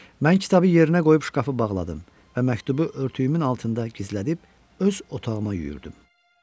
Mən kitabı yerinə qoyub şkafı bağladım və məktubu örtüyümün altında gizlədib öz otağıma yüyürdüm.